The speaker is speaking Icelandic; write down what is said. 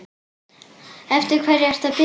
Eftir hverju ertu að bíða?